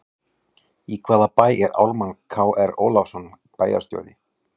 Í hvaða bæ er Ármann Kr Ólafsson bæjarstjóri?